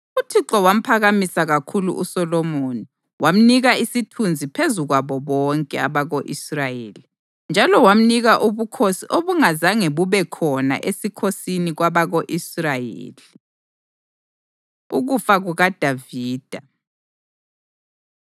UThixo wamphakamisa kakhulu uSolomoni wamnika isithunzi phezu kwabo bonke abako-Israyeli, njalo wamnika ubukhosi obungazange bube khona esikhosini kwabako-Israyeli. Ukufa KukaDavida